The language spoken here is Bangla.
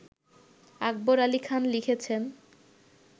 আকবর আলি খান লিখেছেন